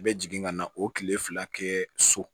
I bɛ jigin ka na o kile fila kɛ so